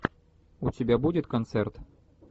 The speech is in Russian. у тебя будет концерт